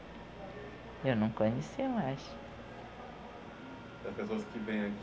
Eu não conhecia mais. As pessoas que vêm